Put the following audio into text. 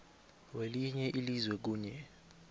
welinye ilizwe kunye